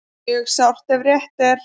Mjög sárt ef rétt er